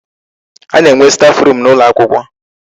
A na-enwe staf room n'ụlọ akwụkwọ.